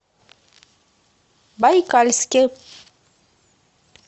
байкальске